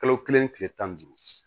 Kalo kelen kile tan ni duuru